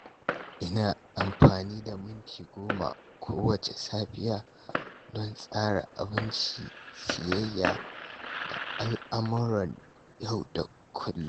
Ina amfani da minti 10 kowacce safiya don tsara abinci, siyayya, da al’amuran yau da kullum.